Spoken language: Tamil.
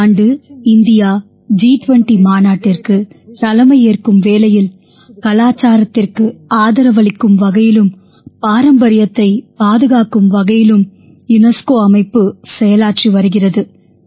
இந்த ஆண்டு இந்தியா ஜி20 மாநாட்டிற்குத் தலையேற்கும் வேளையில் கலாச்சாரத்திற்கு ஆதரவளிக்கும் வகையிலும் பாரம்பரியத்தைப் பாதுகாக்கும் வகையிலும் யுனெஸ்கோ அமைப்பு செயலாற்றி வருகிறது